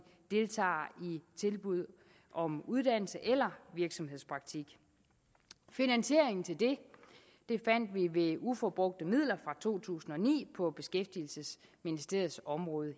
tilbud om uddannelse eller virksomhedspraktik finansieringen til det fandt vi ved uforbrugte midler fra to tusind og ni på beskæftigelsesministeriets område